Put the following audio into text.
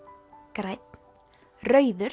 grænn rauður